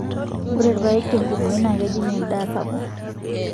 ore irpaek tenkumoi naa kejing endaa sapuk.